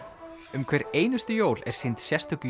um hver einustu jól er sýnd sérstök